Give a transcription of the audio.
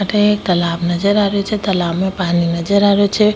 अठे एक तालाब नजर आ रेहो छे तालाब में पानी नजर आ रेहो छे।